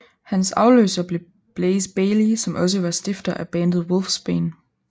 Hans afløser blev Blaze Bayley som også var stifter af bandet Wolfsbane